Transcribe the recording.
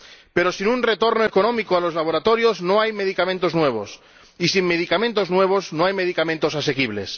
Pero sin un retorno económico a los laboratorios, no hay medicamentos nuevos, y sin medicamentos nuevos, no hay medicamentos asequibles.